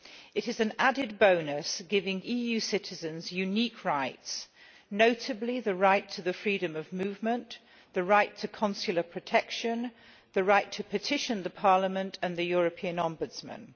It is an added bonus, giving EU citizens unique rights, notably the right to the freedom of movement, the right to consular protection and the right to petition Parliament and the European Ombudsman.